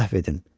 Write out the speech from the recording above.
Əfv edin.